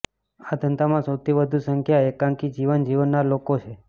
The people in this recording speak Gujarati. આ ધંધામાં સૌથી વધુ સંખ્યા એકાંકી જીવન જીવનાર લોકો છે